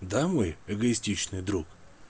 домой эгоистичный друг